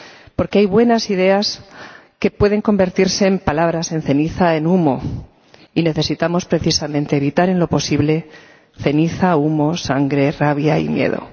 Porque hay buenas ideas, que pueden convertirse en palabras, en ceniza, en humo, y necesitamos, precisamente, evitar en lo posible ceniza, humo, sangre, rabia y miedo.